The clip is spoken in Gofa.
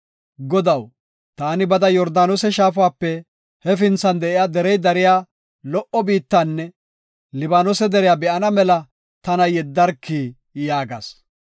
Godaw, taani bada Yordaanose shaafape hefinthan de7iya derey dariya lo77o biittanne Libaanose deriya be7ana mela tana yeddarki” yaagas.